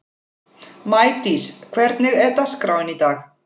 Maídís, hvernig er dagskráin í dag?